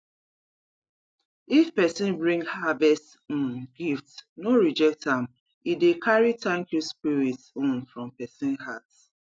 if person bring harvest um gift no reject am e dey carry thank you spirit um from person heart